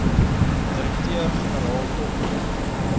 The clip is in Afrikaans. direkteur generaal dot